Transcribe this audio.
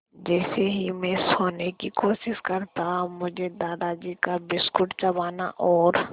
जैसे ही मैं सोने की कोशिश करता मुझे दादाजी का बिस्कुट चबाना और